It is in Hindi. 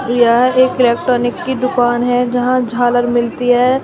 यह एक इलेक्ट्रॉनिक की दुकान है जहां झालर मिलती है।